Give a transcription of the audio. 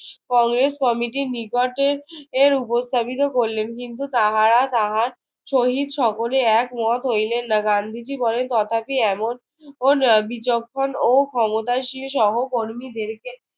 কংগ্রেস কমিটির নিকটে এর উপস্থাপিত করলেন। কিন্তু তাহারা তাহার সহিত সকলে একমত হইলেন না। গান্ধীজি বলেন, তথাপি এমন বিচক্ষণ ও ক্ষমতাশীল সহকর্মীদেরকে